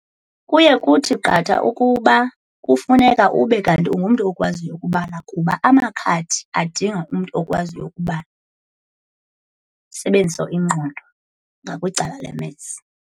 Kuye kuthi qatha ukuba kufuneka ube kanti ungumntu okwaziyo ukubala kuba amakhadi adinga umntu okwaziyo ukubala, usebenzise ingqondo ngakwicala le-Maths.